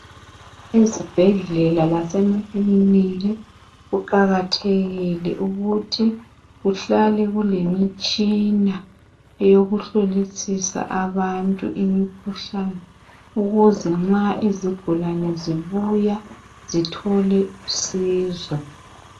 Izibhedlela lasemakiliniki kuqakathekile ukuthi kuhlale kulemitshina eyokuhlolisisa abantu imikhuhlane ukuze ma izigulane zibuya zithole usizo.